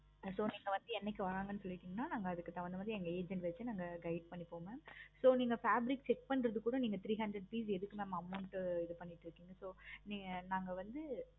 so நீங்க வந்து என்னைக்கு வாங்க போறீங்க சொல்லின்கனா நாங்க அதுக்கு தன்குந்த மாதிரி எங்க agent வச்சி நாங்க guide பண்ணிப்போம் mam so நீங்க fabric check பண்றது கூட three hundred rupees எதுக்கு mam இது பண்ணிக்கிட்டு இருக்கீங்க நாங்க வந்து